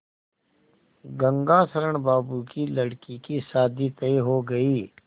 गंगाशरण बाबू की लड़की की शादी तय हो गई